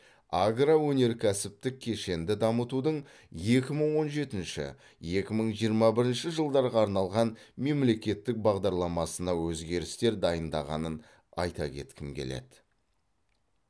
агроөнеркәсіптік кешенді дамытудың екі мың он жетінші екі мың жиырма бірінші жылдарға арналған мемлекеттік бағдарламасына өзгерістер дайындағанын айта кеткім келеді